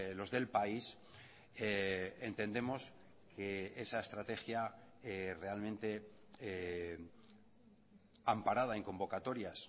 los del país entendemos que esa estrategia realmente amparada en convocatorias